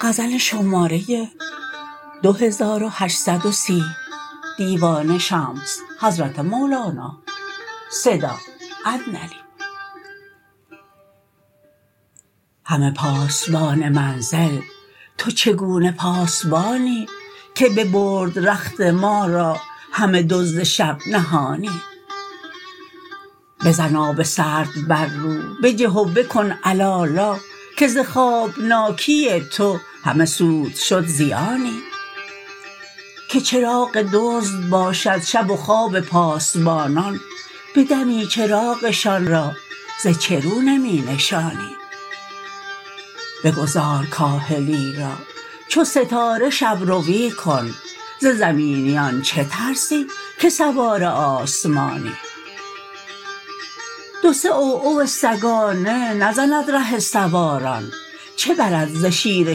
هله پاسبان منزل تو چگونه پاسبانی که ببرد رخت ما را همه دزد شب نهانی بزن آب سرد بر رو بجه و بکن علالا که ز خوابناکی تو همه سود شد زیانی که چراغ دزد باشد شب و خواب پاسبانان به دمی چراغشان را ز چه رو نمی نشانی بگذار کاهلی را چو ستاره شب روی کن ز زمینیان چه ترسی که سوار آسمانی دو سه عوعو سگانه نزند ره سواران چه برد ز شیر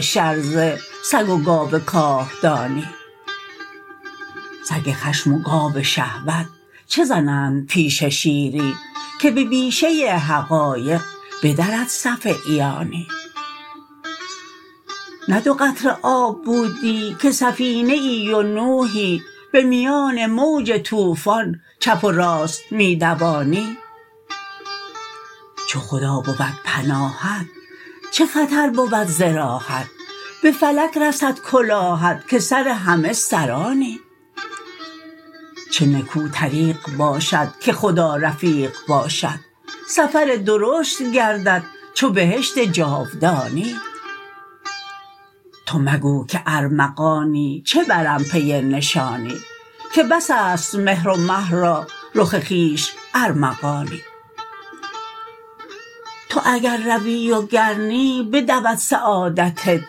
شرزه سگ و گاو کاهدانی سگ خشم و گاو شهوت چه زنند پیش شیری که به بیشه حقایق بدرد صف عیانی نه دو قطره آب بودی که سفینه ای و نوحی به میان موج طوفان چپ و راست می دوانی چو خدا بود پناهت چه خطر بود ز راهت به فلک رسد کلاهت که سر همه سرانی چه نکو طریق باشد که خدا رفیق باشد سفر درشت گردد چو بهشت جاودانی تو مگو که ارمغانی چه برم پی نشانی که بس است مهر و مه را رخ خویش ارمغانی تو اگر روی و گر نی بدود سعادت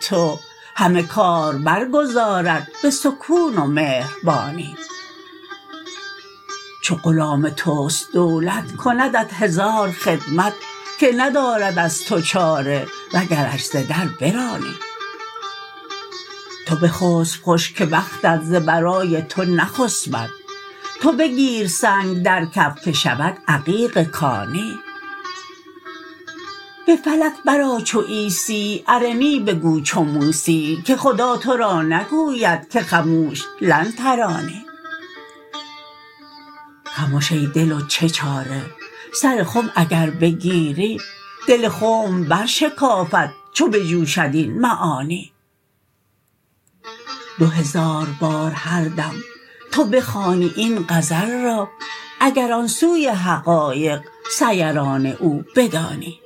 تو همه کار برگزارد به سکون و مهربانی چو غلام توست دولت کندت هزار خدمت که ندارد از تو چاره وگرش ز در برانی تو بخسپ خوش که بختت ز برای تو نخسپد تو بگیر سنگ در کف که شود عقیق کانی به فلک برآ چو عیسی ارنی بگو چو موسی که خدا تو را نگوید که خموش لن ترانی خمش ای دل و چه چاره سر خم اگر بگیری دل خنب برشکافد چو بجوشد این معانی دو هزار بار هر دم تو بخوانی این غزل را اگر آن سوی حقایق سیران او بدانی